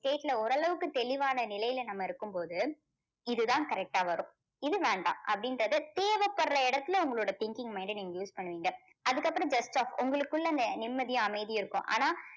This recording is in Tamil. state ல ஓரளவுக்கு தெளிவான நிலையில நம்ம இருக்கும்போது இதுதான் correct டா வரும் இது வேண்டாம் அப்படின்றது தேவைப்படுற இடத்தில உங்களுடைய thinking mind டை நீங்க use பண்ணுவீங்க. அதுக்கப்புறம் best ஆ உங்களுக்குள்ள அந்த நிம்மதியும் அமைதியும் இருக்கும். ஆனால்